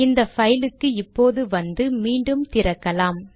இந்த பைலுக்கு இப்போது வந்து மீண்டும் திறக்கலாம்